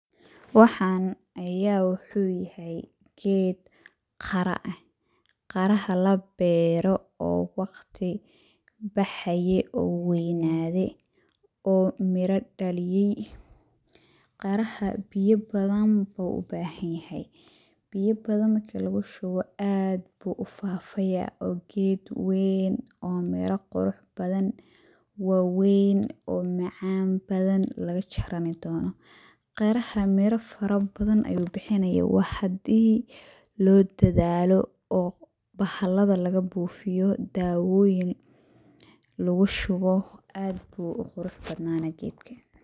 Waxaan ayaa waxuu yahay, geed qara ah ,qaraha la beero oo waqti baxaye oo weynaade oo midha dhaliyay. Qiraha biya badan buu u bahan yahay ,biya badan marki lagu shubo aad buu u fafayaa oo geed weyn oo meela qurux badan waweyn oo macaan badan laga jarani doono . Qiraha midha fara badan ayuu bixinayaa ,waa haddii loo dadaal;o ,bahallada laga bufiyo, dawoyin lugu shubo .Aad buu u qurux badnaani geedlka.